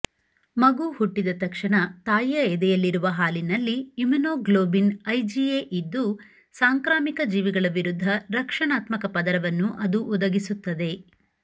ಮಗು ಹುಟ್ಟಿದ ತಕ್ಷಣ ತಾಯಿಯ ಎದೆಯಲ್ಲಿರುವ ಹಾಲಿನಲ್ಲಿ ಇಮ್ಯುನೋಗ್ಲೋಬಿನ್ ಐಜಿಎಯಿದ್ದು ಸಾಂಕ್ರಾಮಿಕ ಜೀವಿಗಳ ವಿರುದ್ಧ ರಕ್ಷಣಾತ್ಮಕ ಪದರವನ್ನು ಅದು ಒದಗಿಸುತ್ತದೆ